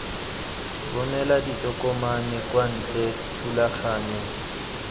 romela ditokomane kwa ntle thulaganyo